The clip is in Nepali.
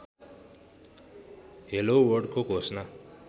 हेलो वर्ल्डको घोषणा